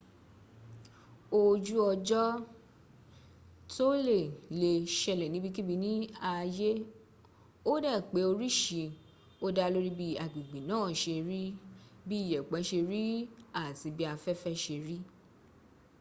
ojú ọjọ́ tóle lè ṣẹlẹ̀ níbikíbi ní ayé ó dẹ̀ pé orísí o dá lórí bi agbègbè naa ṣe rí bí iyẹ̀pẹ̀ ṣe rí àti bí afẹ́fẹ́ ṣe rí